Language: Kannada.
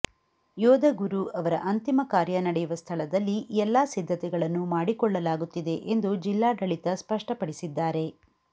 ಯೋಧ ಗುರು ಅವರ ಅಂತಿಮ ಕಾರ್ಯ ನಡೆಯುವ ಸ್ಥಳದಲ್ಲಿ ಎಲ್ಲಾ ಸಿದ್ಧತೆಗಳನ್ನು ಮಾಡಿಕೊಳ್ಳಲಾಗುತ್ತಿದೆ ಎಂದು ಜಿಲ್ಲಾಡಳಿತ ಸ್ಪಷ್ಟಪಡಿಸಿದ್ದಾರೆ